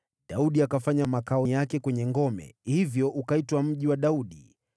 Daudi akafanya makao yake kwenye ngome, hivyo ukaitwa Mji wa Daudi.